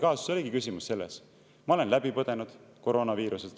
Ma olin tolleks hetkeks läbi põdenud koroonaviiruse.